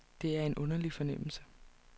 Det er en underlig fornemmelse.